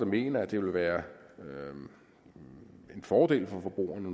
mener at det vil være en fordel for forbrugerne